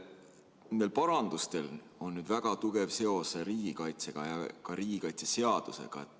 Nendel muudatustel on väga tugev seos riigikaitse ja riigikaitseseadusega.